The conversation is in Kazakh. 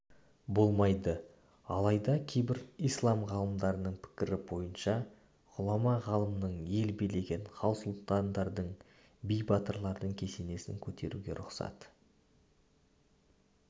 болмайды алайда кейбір ислам ғалымдарының пікірі бойынша ғұлама-ғалымның ел билеген хан-сұлтандардың би-батырлардың кесенесін көтеруге рұқсат